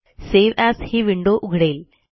save as ही window उघडेल